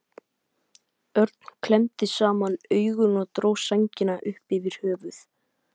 Örn klemmdi saman augun og dró sængina upp yfir höfuð.